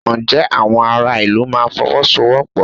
Ǹjẹ́ àwọn ará ìlú máa Fọwọ́sowọ́pọ̀?